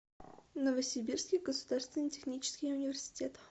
новосибирский государственный технический университет